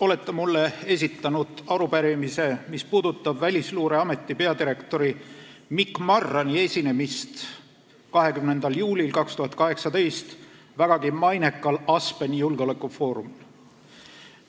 Olete mulle esitanud arupärimise, mis puudutab Välisluureameti peadirektori Mikk Marrani esinemist 20. juulil 2018 vägagi mainekal Aspeni julgeolekufoorumil.